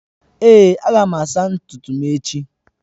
Èé, aga m asa ntutu m echi.